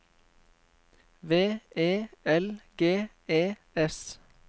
V E L G E S